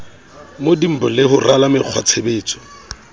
mdnb le ho rala mekgwatshebetso